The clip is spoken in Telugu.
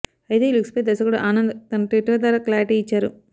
అయితే ఈ లుక్పై దర్శకుడు ఆనంద్ తన ట్విట్టర్ ద్వారా క్లారిటీ ఇచ్చారు